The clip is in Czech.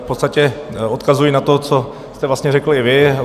V podstatě odkazuji na to, co jste vlastně řekl i vy.